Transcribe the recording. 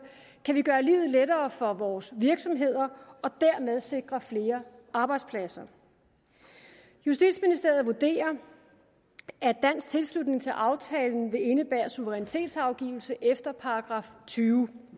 kan vi gøre livet lettere for vores virksomheder og dermed sikre flere arbejdspladser justitsministeriet vurderer at dansk tilslutning til aftalen vil indebære suverænitetsafgivelse efter § tyve